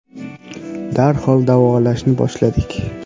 Darhol davolashni boshladik.